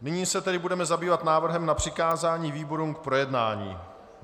Nyní se tedy budeme zabývat návrhem na přikázání výborům k projednání.